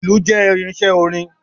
Ìlù jẹ́ irinṣẹ́ orin.